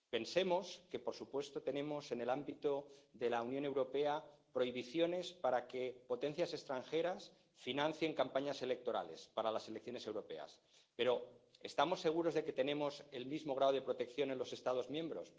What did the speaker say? Pensemos que, por supuesto, tenemos en el ámbito de la Unión Europea prohibiciones para que potencias extranjeras financien campañas electorales para las elecciones europeas, pero ¿estamos seguros de que tenemos el mismo grado de protección en los Estados miembros?